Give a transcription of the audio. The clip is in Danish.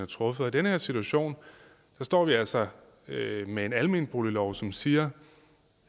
truffet og i den her situation står vi altså med med en almenboliglov som siger